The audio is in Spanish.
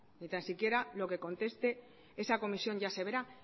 ni tan siquiera lo que conteste esa comisión ya se verá